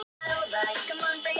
Ég vil sjá hvernig hann dugar!